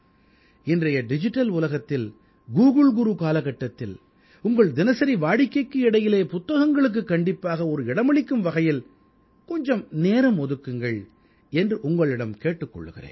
இன்றைய டிஜிட்டல் உலகத்தில் கூகுள் குரு காலகட்டத்தில் உங்கள் தினசரி வாடிக்கைக்கு இடையிலே புத்தகங்களுக்கு கண்டிப்பாக ஒரு இடமளிக்கும் வகையில் கொஞ்சம் நேரம் ஒதுக்குங்கள் என்று உங்களிடம் கேட்டுக் கொள்கிறேன்